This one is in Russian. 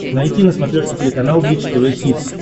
найти на смотрешке телеканал бридж тв хитс